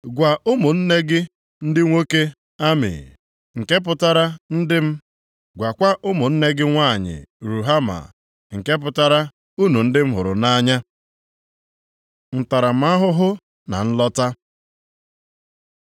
“Gwa ụmụnne gị ndị nwoke Ami, ‘nke pụtara ndị m,’ gwakwa ụmụnne gị nwanyị Ruhama, nke pụtara, ‘Unu ndị m hụrụ nʼanya.’ Ntaramahụhụ na nlọta